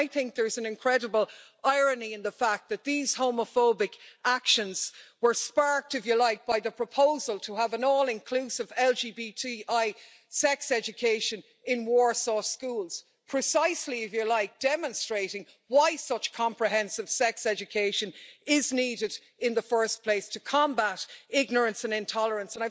I think there's an incredible irony in the fact that these homophobic actions were sparked by the proposal to have an all inclusive LGBTI sex education in Warsaw schools, precisely demonstrating why such comprehensive sex education is needed in the first place to combat ignorance and intolerance.